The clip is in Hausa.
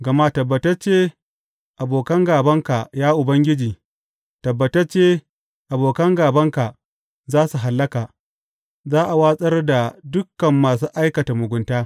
Gama tabbatacce abokan gābanka, ya Ubangiji, tabbatacce abokan gābanka za su hallaka; za a watsar da dukan masu aikata mugunta.